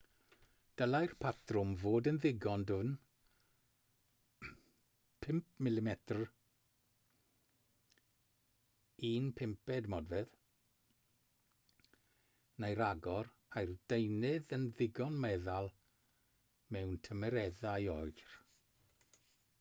dylai'r patrwm fod yn ddigon dwfn 5mm 1/5 modfedd neu ragor a'r deunydd yn ddigon meddal mewn tymereddau oer